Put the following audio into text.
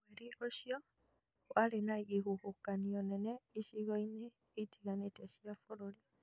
Mweri ũcio warĩ na ihuhũkanio nene icigo-inĩ itiganĩte cia bũrũri